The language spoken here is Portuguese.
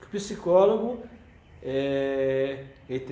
Que o psicólogo, eh... Ele tem